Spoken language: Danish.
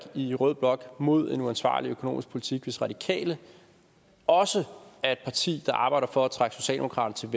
i rød blok mod en uansvarlig økonomisk politik hvis radikale også er et parti der arbejder for at trække socialdemokratiet